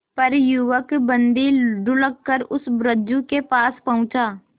पर युवक बंदी ढुलककर उस रज्जु के पास पहुंचा